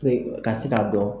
Pe ka se ka dɔn.